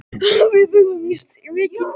Við höfum misst mikinn tíma.